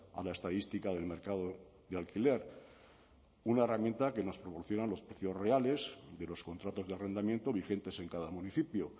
a la estadística del mercado de alquiler una herramienta que nos proporciona los precios reales de los contratos de arrendamiento vigentes en cada municipio